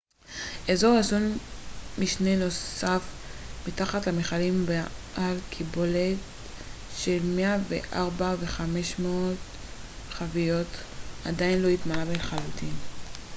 אזור אחסון משני נוסף מתחת למכלים בעל קיבולת של 104,500 חביות עדיין לא התמלא לחלוטין